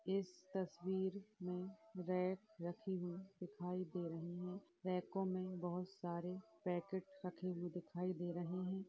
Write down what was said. इस तस्वीर में रैक रखी हुई दिखाई दे रही हैं | रैको में बोहोत सारे पैकेट्स रखे हुए दिखाई दे रहै हैं ।